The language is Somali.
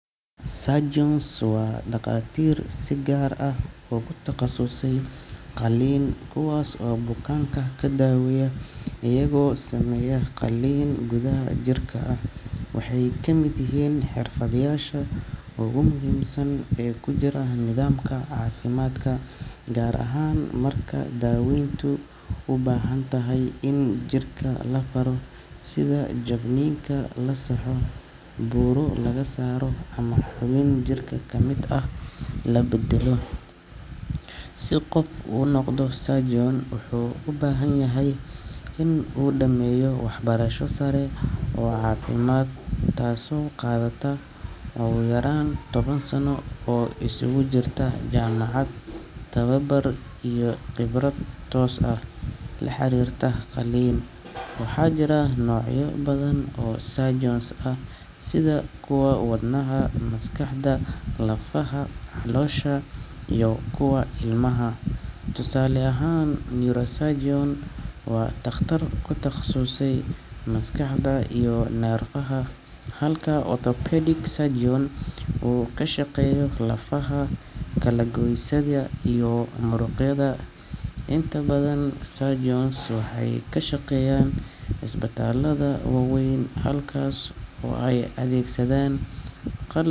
Surgeons waa dhaqaatiir si gaar ah ugu takhasusay qalliin, kuwaas oo bukaanka ka daweeya iyagoo sameeya qalliin gudaha jirka ah. Waxay ka mid yihiin xirfadlayaasha ugu muhiimsan ee ku jira nidaamka caafimaadka, gaar ahaan marka daaweyntu u baahan tahay in jirka la faro sida jabniinka la saxo, buro laga saaro, ama xubin jirka ka mid ah la beddelo. Si qof u noqdo surgeon, wuxuu u baahan yahay inuu dhameeyo waxbarasho sare oo caafimaad, taasoo qaadata ugu yaraan toban sano oo isugu jirta jaamacad, tababar, iyo khibrad toos ah oo la xiriirta qalliin. Waxaa jira noocyo badan oo surgeons ah sida kuwa wadnaha, maskaxda, lafaha, caloosha, iyo kuwa ilmaha. Tusaale ahaan, neurosurgeon waa takhtar ku takhasusay maskaxda iyo neerfaha, halka orthopedic surgeon uu ka shaqeeyo lafaha, kala-goysyada iyo muruqyada. Inta badan surgeons waxay ka shaqeeyaan isbitaallada waaweyn halkaas oo ay adeegsadaan qalab.